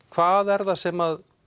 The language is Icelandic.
hvað er það sem